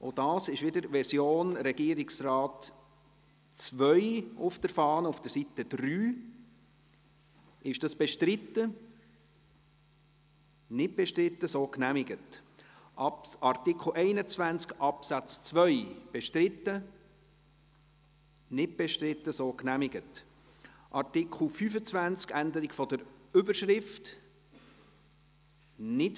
«Er beachtet bei der Zuteilung […]», wobei sich dieses «er» – das muss ich zuhanden des Protokolls sagen – eben jetzt logischerweise nicht auf die Regierung, sondern auf den Grossen Rat bezieht.